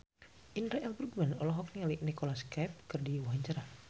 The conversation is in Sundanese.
Indra L. Bruggman olohok ningali Nicholas Cafe keur diwawancara